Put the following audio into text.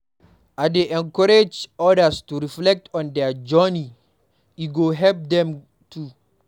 I dey encourage others to reflect on their journey; e go help dem too.